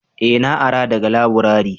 eh na ara daga laburare